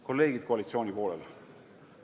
Kolleegid koalitsiooni poolel!